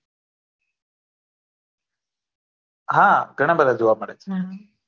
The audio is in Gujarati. હા ઘણા બધા જોવા મળે